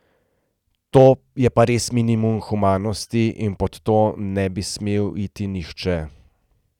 To je pa res minimum humanosti in pod to ne bi smel iti nihče.